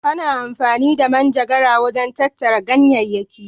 Ana amfani da manjagara wajen tattara ganyayyaki.